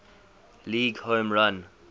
league home run